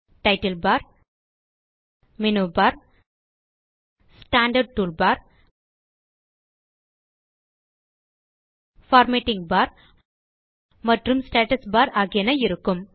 title bar menu bar standard toolbar formatting bar மற்றும் status bar ஆகியன இருக்கும்